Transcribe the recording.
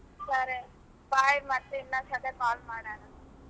ಸರೆ bye ಮತ್ತೆ ಇನ್ನೊಂದ್ ಸತೆ call ಮಾಡೋಣಾ.